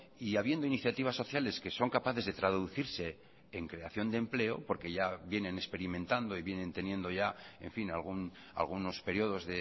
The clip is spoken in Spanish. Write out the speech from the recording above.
y habiendo iniciativas sociales que son capaces de traducirse en creación de empleo porque ya vienen experimentando y vienen teniendo ya en fin algunos periodos